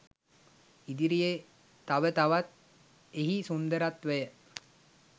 ඉදිරියේ තව තවත් එහි සුන්දරත්වය